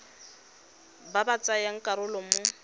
ba ba tsayang karolo mo